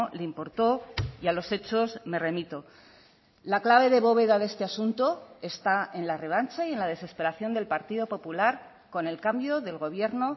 le importó y a los hechos me remito la clave de bóveda de este asunto está en la revancha y en la desesperación del partido popular con el cambio del gobierno